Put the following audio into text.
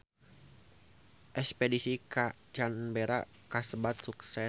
Espedisi ka Canberra kasebat sukses